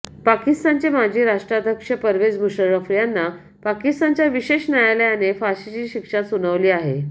पाकिस्तानचे माजी राष्ट्राध्यक्ष परवेझ मुशर्रफ यांना पाकिस्तानच्या विशेष न्यायालयाने फाशीची शिक्षा सुनावली आहे